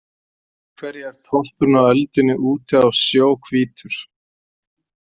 Af hverju er toppurinn á öldunni úti á sjó hvítur?